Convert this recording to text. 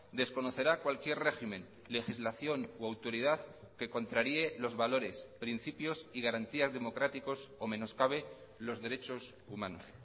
desconocerá cualquier régimen legislación o autoridad que contraríe los valores principios y garantías democráticos o menoscabe los derechos humanos